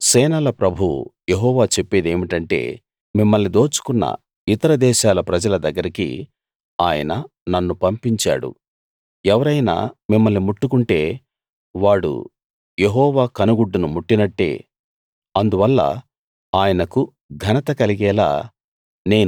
సేనల ప్రభువు యెహోవా చెప్పేదేమిటంటే మిమ్మల్ని దోచుకొన్న ఇతర దేశాల ప్రజల దగ్గరికి ఆయన నన్ను పంపించాడు ఎవరైనా మిమ్మల్ని ముట్టుకుంటే వాడు యెహోవా కనుగుడ్డును ముట్టినట్టే అందువల్ల ఆయనకు ఘనత కలిగేలా